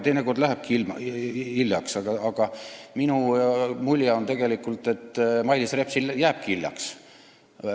Teinekord jääb hiljaks, aga minu mulje on tegelikult, et Mailis Repsil jääbki hiljaks.